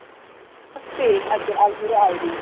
Ekki bara spil heldur alvöru æfing.